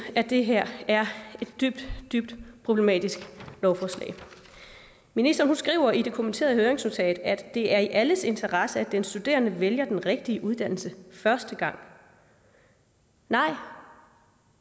at det her er et dybt dybt problematisk lovforslag ministeren skriver i det kommenterede høringsnotat at det er i alles interesse at den studerende vælger den rigtige uddannelse første gang nej